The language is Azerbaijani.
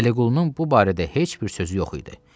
Vəliqulunun bu barədə heç bir sözü yox idi.